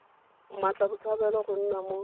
mmatla botshabelo go nna mo